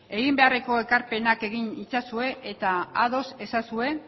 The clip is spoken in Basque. egin beharreko ekarpenak egin itzazue eta ados ezazue